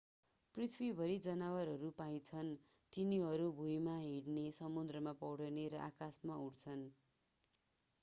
पृथ्वीभरि जनावरहरू पाइन्छन्। तिनीहरू भुइँमा हिड्ने समुद्रमा पौडिने र आकाशमा उड्छन्‌।